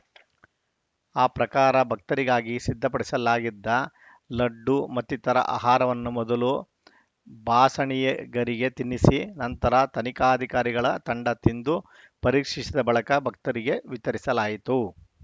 ಆ ಪ್ರಕಾರ ಭಕ್ತರಿಗಾಗಿ ಸಿದ್ಧಪಡಿಸಲಾಗಿದ್ದ ಲಡ್ಡು ಮತ್ತಿತರ ಆಹಾರವನ್ನು ಮೊದಲು ಬಾಸಣಿಗೆಗರಿಗೆ ತಿನ್ನಿಸಿ ನಂತರ ತನಿಖಾಧಿಕಾರಿಗಳ ತಂಡ ತಿಂದು ಪರೀಕ್ಷಿಸಿದ ಬಳಿಕ ಭಕ್ತರಿಗೆ ವಿತರಿಸಲಾಯಿತು